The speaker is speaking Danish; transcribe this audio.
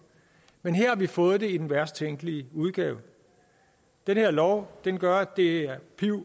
men her har vi fået det i den værst tænkelige udgave den her lov gør at det bliver